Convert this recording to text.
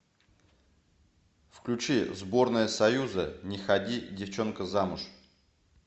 включи сборная союза не ходи девчонка замуж